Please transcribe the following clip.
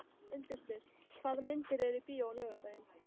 Jón Örn Guðbjartsson: Klaka?